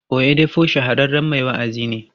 Oyedepo shahararren mai wa'azi ne.